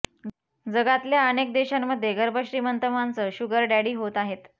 जगातल्या अनेक देशांमध्ये गर्भश्रीमंत माणसं शुगर डॅडी होत आहेत